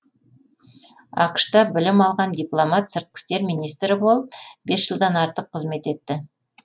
ақш та білім алған дипломат сыртқы істер министрі болып бес жылдан артық қызмет етті